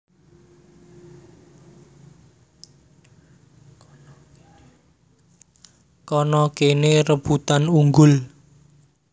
Kana kene rebutan unggul